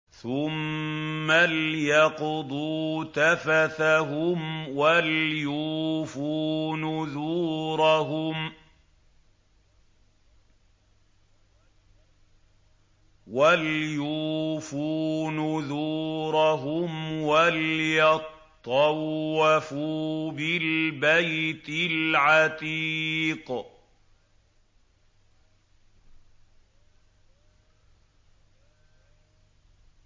ثُمَّ لْيَقْضُوا تَفَثَهُمْ وَلْيُوفُوا نُذُورَهُمْ وَلْيَطَّوَّفُوا بِالْبَيْتِ الْعَتِيقِ